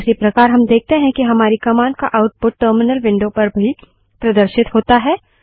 उसी प्रकार हम देखते हैं कि हमारी कमांड का आउटपुट टर्मिनल विंडो पर भी प्रदर्शित होता है